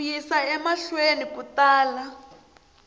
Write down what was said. ku yisa emahlweni ku tala